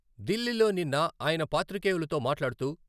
దిల్లీలో నిన్న ఆయన పాత్రికేయులతో మాట్లాడుతూ..